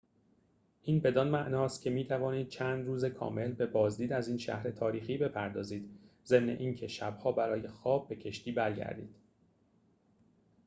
این بدان معناست که می‌توانید چند روز کامل به بازدید از این شهر تاریخی بپردازید ضمن این که شب‌ها برای خواب به کشتی برگردید